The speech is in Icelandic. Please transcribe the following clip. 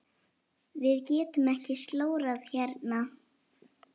Við getum ekki slórað hérna.